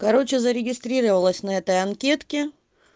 короче зарегистрировалась на этой анкетке